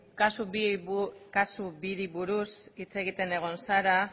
kasu biri buruz hitz egiten egon zara